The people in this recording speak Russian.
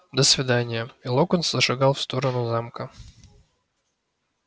до свидания и локонс зашагал в сторону замка